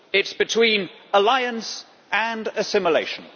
It is between alliance and assimilation.